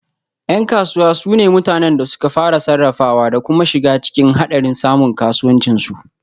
Yan kasuwa su ne mutanen da suka fara, sarrafawa da kuma shiga cikin hadarin samun kasuwancin su